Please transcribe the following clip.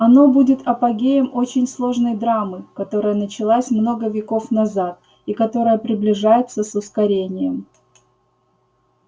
оно будет апогеем очень сложной драмы которая началась много веков назад и которая приближается с ускорением